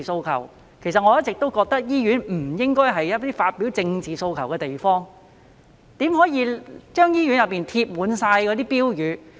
其實我一直認為醫院不應該是發表政治訴求的地方，怎能在醫院內張貼那些標語呢？